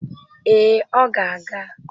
Ee, ọ ga-aga